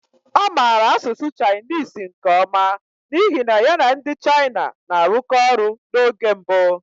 Ọ maara asụsụ Chinese nke ọma n'ihi na ya na ndị China na-arụkọ ọrụ n'oge mbụ.